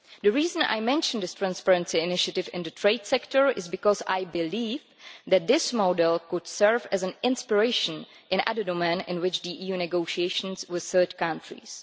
The reason I mention the transparency initiative in the trade sector is because I believe that this model could serve as an inspiration in other domains in which the EU negotiates with third countries.